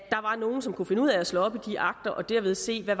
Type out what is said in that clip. er nogle som kan finde ud af at slå op i de akter og derved se hvad